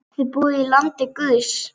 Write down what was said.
Þið búið í landi guðs.